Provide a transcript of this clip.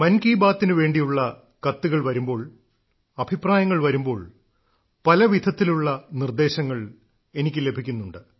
മൻ കി ബാത്തിനു വേണ്ടിയുള്ള കത്തുകൾ വരുമ്പോൾ അഭിപ്രായങ്ങൾ വരുമ്പോൾ പല വിധത്തിലുള്ള നിർദ്ദേശങ്ങൾ എനിക്ക് ലഭിക്കുന്നുണ്ട്